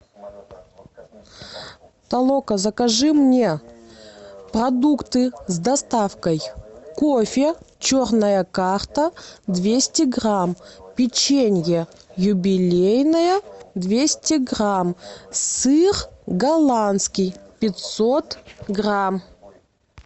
толока закажи мне продукты с доставкой кофе черная карта двести грамм печенье юбилейное двести грамм сыр голландский пятьсот грамм